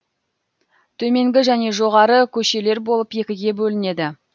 төменгі және жоғары көшелер болып екіге бөлінеді